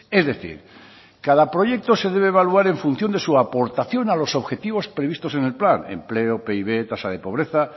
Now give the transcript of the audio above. es decir cada proyecto se debe evaluar en función de su aportación a los objetivos previstos en el plan empleo pib tasa de pobreza